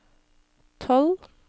tolv